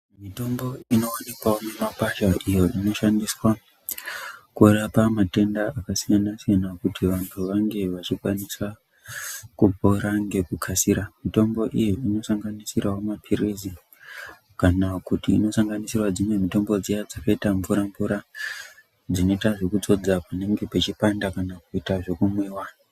Mitombo inowwnikwawo mumakwasha iyo inoshandiswa kurapa matenda akasiyana siyana kuti vantu vange vachikwanisa kupora ngekukasira mitombo iyo inosanganisira mapilizi kana kuti inosanganisira mitombo dzimwe dzakaitamvura mvura dzinoita zvekudzodza panenge pechipanda kana kuita zvekumwiwa.